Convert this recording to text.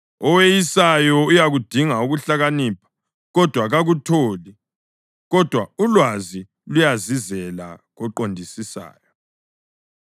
Oweyisayo uyakudinga ukuhlakanipha kodwa kakutholi, kodwa ulwazi luyazizela koqondisisayo.